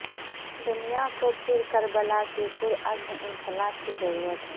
دنیا کو پھر کربلا کے پرعزم انقلاب کی ضرورت ہے